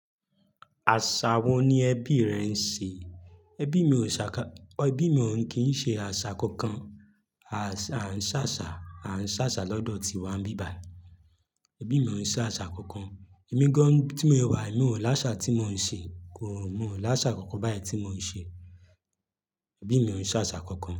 Àṣà wo ni ẹbí rẹ ń ṣe? Ẹbí mi ò ṣàkà, ẹbí mi ò ń kì í ṣe àṣà kankan. A ṣà, a ń ṣàṣà, a ń ṣàṣà lọ́dọ̀ tiwa níbibàyí. Ẹbí mi ò ń ṣe àṣà kankan. Emí gán tí mo wà, mi ò láṣà tí mo ń ṣe, kò, mo ò láṣà kankan báyìí tí mo ń ṣe. Ẹbí mi ò ń ṣe àṣà kankan.